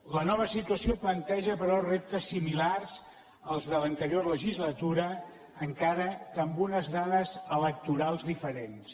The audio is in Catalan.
la nova situació planteja però reptes similars als de l’anterior legislatura encara que amb unes dades electorals diferents